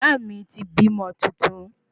Iyaami ti bímo tuntun